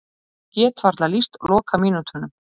Ég get varla lýst lokamínútunum.